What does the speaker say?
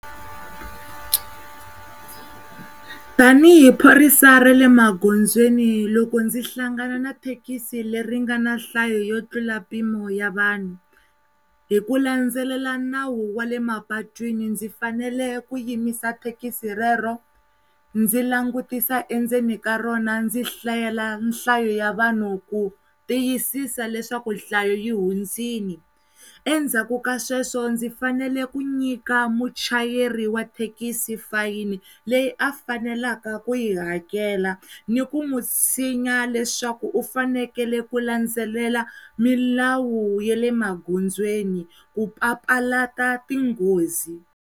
Tanihi phorisa ra le magondzweni loko ndzi hlangana na thekisi le ri nga na nhlayo yo tlula mpimo ya vanhu hi ku landzelela nawu wale mapatwini ndzi fanele ku yimisa thekisi rero ndzi langutisa endzeni ka rona ndzi hlayela nhlayo ya vanhu ku tiyisisa leswaku hlaya yi hundzile endzhaku ka sweswo ndzi fanele ku nyika muchayeri wa thekisi fayini leyi a fanelaka ku yi hakela ni ku mutshinya leswaku u fanekele ku landzelela milawu ya le magondzweni ku papalata ti tinghozi.